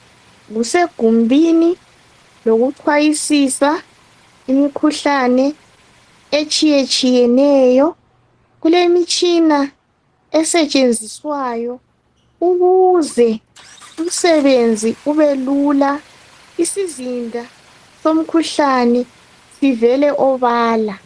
Kusegumbini lokuchwayisisa imikhuhlane etshiyetshiyeneyo kulemitshina esetshenziswayo ukuze umsebenzi ubelula isizinda somkhuhlane sivele obala